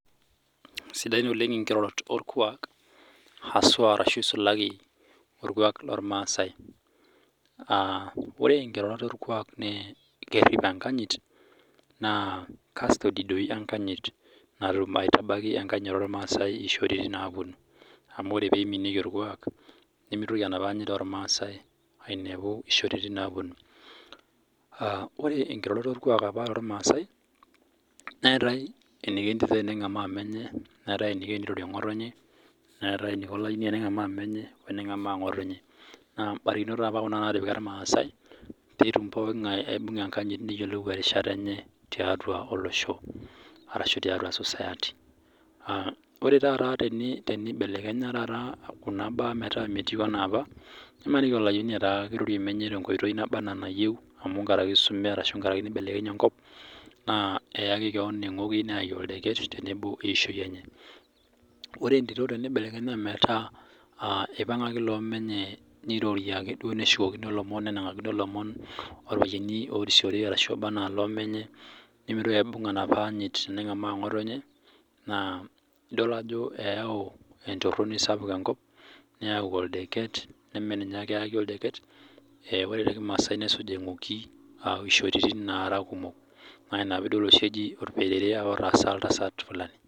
Sidain oleng nkirorot orkuak hasua ashu esulaki orkuak loo irmasai ore nkirorot orkuak naa kerip enkanyit naa custody doi natum aitabaiki enkanyit ormasai eyishoritin naapuonu amu ore pee eimikie orkuak nimitoki enapa anyit oremasai ainepu eyishoritin naapuonu ore nkirorot ormasai neetae eniko entito eniko tengamaa menye Neetae eniko tenirorie ngotonye neetae eniko Olayioni tengamaa menye Neetae eniko tengamaa ngotonye naa mbarikinot apa Kuna natipika irmasai petum pookin ng'ae aibung'a enkanyit neyiolou erishata enye tiatua olosho arashu tiatua society ore taata tenibelekenya Kuna mbaa metaa meyieu ena apa nimaniki aa Olayioni kirorie menye tenkoitoi naba ena enayieu amu nkaraki eisume ashu nibelekenye enkop kake eyaku keon engoki neyakj okdeket tenebo eyishoi enye ore entito teneku kipangaki loo menye nirorie aaku keshukokino loomon nenangakino loomon orpayiani orisiore obaa ena loo menye nimitoki aibung enapa anyit nengamaa ngotonye edol Ajo eyau entorini sapuk enkop neme ninye ake eyaki oldeket ore tee kimasai nesuj engoki eyishoi kumok naa ena piidol eji orperere apa otaasa Fulani